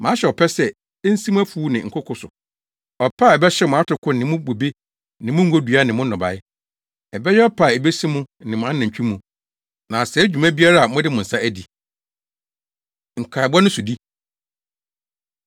Mahyɛ ɔpɛ sɛ, ensi mo mfuw ne nkoko + 1.11 Nkoko—Wɔyɛ atrapoe sɛso a ɛtrɛw wɔn nkoko so na wɔatumi adɔw, adua, atwa. so; ɔpɛ a ɛbɛhyew mo atoko ne mo bobe ne mo ngodua ne mo nnɔbae, ɛbɛyɛ ɔpɛ a ebesi mo ne mo anantwi mu, na asɛe dwuma biara a mode mo nsa adi.” Nkaebɔ No Sodi